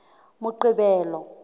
moqebelo